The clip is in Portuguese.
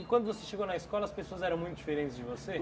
E quando você chegou na escola, as pessoas eram muito diferentes de você?